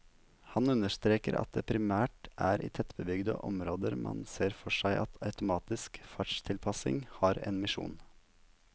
Han understreker at det primært er i tettbygde områder man ser for seg at automatisk fartstilpassing har en misjon.